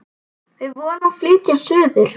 Við vorum að flytja suður.